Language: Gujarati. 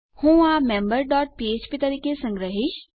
હું આ મેમ્બર ડોટ ફ્ફ્પ તરીકે સંગ્રહીશ